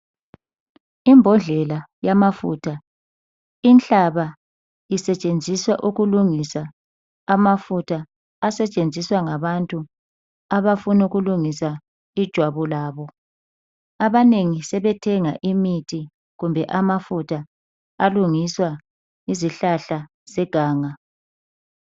Imbodlela yamafutha. Inhlaba isetshenziswa ukulungisa amafutha asetshenziswa ngabantu abafuna ukulungisa ijwabu labo. Abanengi sebethenga imithi kumbe amafutha alungiswa yizihlahla zeganga.